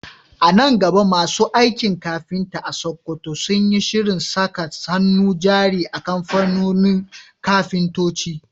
A nan gaba masu aikin kafinta a Sakkwato sun yi shirin saka hannun jari a kamfanin kafintoci